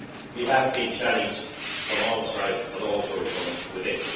We have been challenged from outside, but also from within.